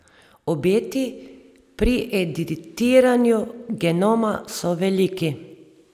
Obeti pri editiranju genoma so veliki.